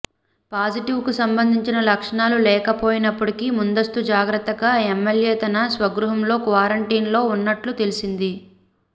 positive కు సంబంధించిన లక్షణాలు లేకపోయినప్పటికీ ముందస్తు జాగ్రత్తగా ఎమ్మెల్యే తన స్వగృహంలో క్వారంటైన్ లో ఉన్నట్లు తెలిసింది